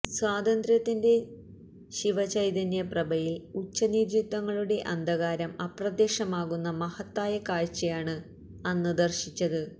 സ്വാതന്ത്ര്യത്തിന്റെ ശിവചൈതന്യപ്രഭയില് ഉച്ചനീചത്വങ്ങളുടെ അന്ധകാരം അപ്രത്യക്ഷമാകുന്ന മഹത്തായ കാഴ്ചയാണ് അന്ന് ദര്ശിച്ചത്